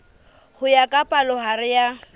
ho ya ka palohare ya